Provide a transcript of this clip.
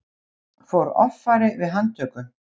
Fór offari við handtöku